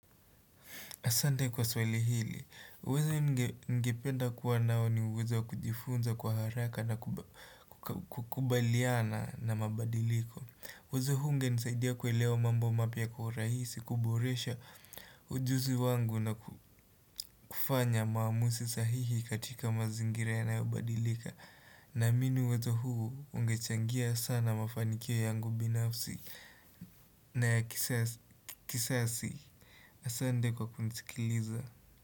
Asante kwa swali hili, uwezo ningependa kuwa nao ni uwezo wa kujifunza kwa haraka na kukubaliana na mabadiliko. Uwezo huu ungenisaidia kuelewa mambo mapya kwa uraisi, kuboresha ujuzi wangu na kufanya maamusi sahihi katika mazingira yanayobadilika. Naamini uwezo huu ungechangia sana mafanikio yangu binafsi na ya kisasi. Asante kwa kunisikiliza.